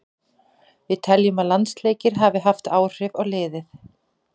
Við teljum að landsleikir hafi haft áhrif á liðið.